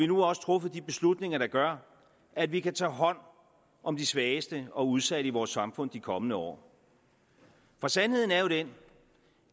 nu også truffet de beslutninger der gør at vi kan tage hånd om de svageste og udsatte i vores samfund i de kommende år for sandheden er jo den